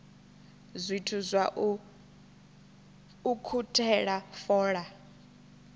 zwithu zwa u ukhuthela fola